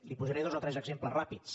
li’n posaré dos o tres exemples ràpids